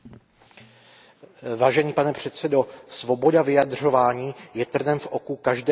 Pane předsedající, svoboda vyjadřování je trnem v oku každého totalitního režimu.